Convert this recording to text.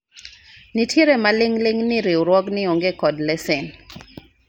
nitiere maling'ling ni riwruogni onge kod lesen